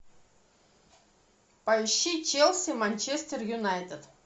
поищи челси манчестер юнайтед